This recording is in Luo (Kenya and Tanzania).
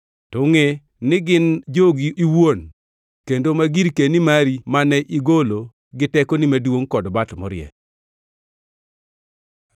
To ngʼe ni gin jogi owuon kendo ma girkeni mari mane igolo gi tekoni maduongʼ kod bat morie.”